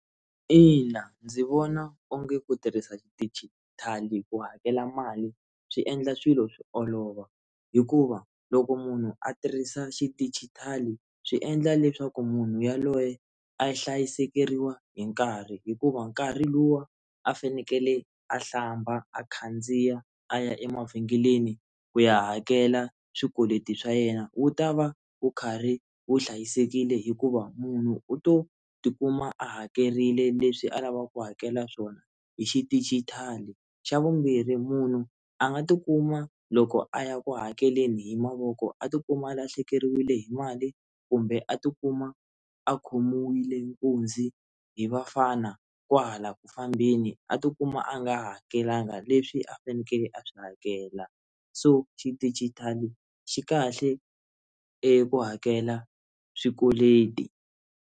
Ina ndzi vona onge ku tirhisa xidijitali ku hakela mali swi endla swilo swi olova hikuva loko munhu a tirhisa xidijitali swi endla leswaku munhu yaloye a yi hlayisekeriwa hi nkarhi hikuva nkarhi luwa a fanekele a hlamba a khandziya a ya emavhengeleni ku ya hakela swikweleti swa yena wu ta va wu karhi wu hlayisekile hikuva munhu u to tikuma a hakerile leswi a lavaka ku hakela swona hi xidijitali xa vumbirhi munhu a nga tikuma loko a ya ku hakeleni hi mavoko a tikuma a lahlekeriwile hi mali kumbe a tikuma a khomiwile nkunzi hi vafana kwahala ku fambeni a tikuma a nga hakelanga leswi a fanekele a swi hakela so xidijitali xi kahle eku hakela swikweleti.